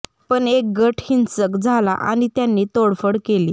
पण एक गट हिंसक झाला आणि त्यांनी तोडफोड केली